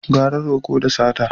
Gara roƙo da sata